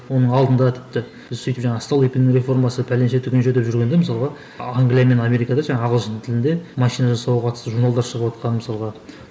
оның алдында тіпті біз сөйтіп жаңағы столыпин реформасы пәленше түгенше деп жүргенде мысалға англия мен америкада жаңағы ағылшын тілінде машина жасауға қатысты журналдар шағыватқан мысалға